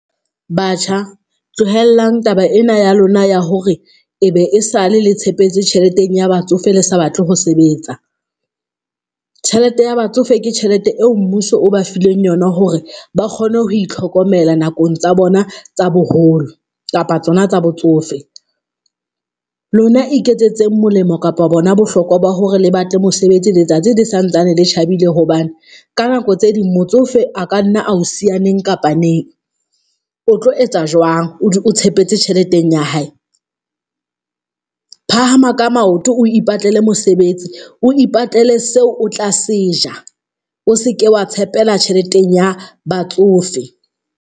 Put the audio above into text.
Batjha tlohellang taba ena ya lona ya hore e be e sale le tshepetse tjheleteng ya batsofe le sa batle ho sebetsa. Tjhelete ya batsofe ke tjhelete eo mmuso o ba fileng yona hore ba kgone ho itlhokomela nakong tsa bona tsa boholo kapa tsona tsa botsofe, lona iketsetseng molemo kapa bona bohlokwa ba hore le batle mosebetsi letsatsi le sa ntsane le tjhabile hobane ka nako tse ding motsofe a ka nna ao siya neng kapa neng o tlo etsa jwang, o tshepetse tjheleteng ya hae? Phahama ka maoto, o ipatlele mosebetsi o ipatlele seo o tla seja o seke wa tshepela tjheleteng ya batsofe.